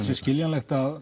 sé skiljanlegt að